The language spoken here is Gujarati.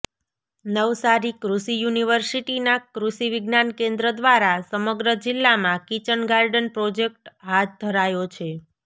નવસારી કૃષિ યુનિવર્સિટીનાં કૃષિ વિજ્ઞાન કેન્દ્ર દ્વારા સમગ્ર જિલ્લામાં કિચન ગાર્ડન પ્રોજેક્ટ હાથ ધરાયો છે